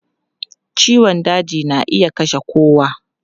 Ciwon daji na iya kashe kowa.